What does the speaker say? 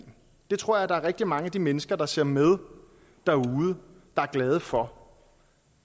det tror jeg rigtig mange af de mennesker der ser med derude er glade for